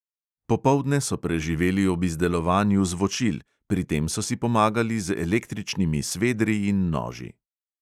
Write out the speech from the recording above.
Popoldne so preživeli ob izdelovanju zvočil, pri tem so si pomagali z električnimi svedri in noži.